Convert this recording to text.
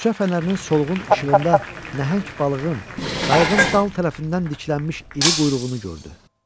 Küçə fənərinin solğun işığında nəhəng balığın, qayığın dal tərəfindən diklənmiş iri quyruğunu gördü.